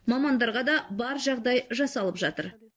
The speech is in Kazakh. мамандарға да бар жағдай жасалып жатыр